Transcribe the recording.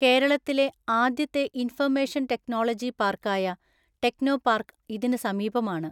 കേരളത്തിലെ ആദ്യത്തെ information technology പാർക്കായ ടെൿനോപാർക്ക് ഇതിന് സമീപമാണ്.